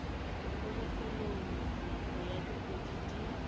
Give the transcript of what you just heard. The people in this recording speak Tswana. kgolegelong nako ya dikgwedi di